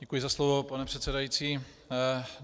Děkuji za slovo, pane předsedající.